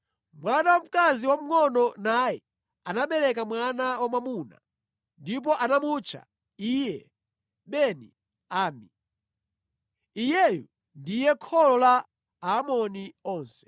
Mwana wamkazi wamngʼono naye anabereka mwana wamwamuna, ndipo anamutcha iye Beni-Ammi. Iyeyu ndiye kholo la Aamoni onse.